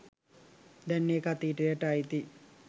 දැන් ඒක අතීතයට අයිතියි.